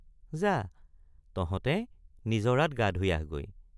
যা তহঁতে নিজৰাত গা ধুই আহগৈ।